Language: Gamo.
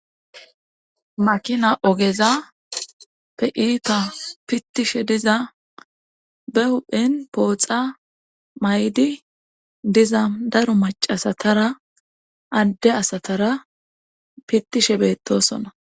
makina ogeza pe iipa pittishe diza be huphen pooxa maydi diza daro macasatara adde asatara pittishe beettosona